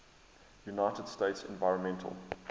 united states environmental